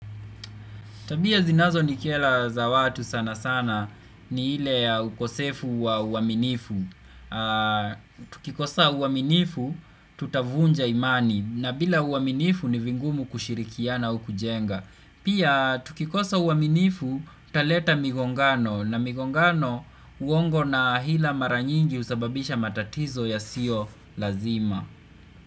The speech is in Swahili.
Tabia zinazo ni kera za watu sana sana ni ile ukosefu wa uaminifu. Tukikosa uaminifu tutavunja imani na bila uaminifu ni vingumu kushirikiana au kujenga. Pia tukikosa uaminifu taleta migongano na migongano uongo na hila maranyingi usababisha matatizo ya sio lazima.